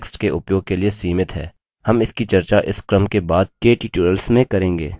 हम इसकी चर्चा इस क्रम के बाद के टूयटोरियल्स में करेंगे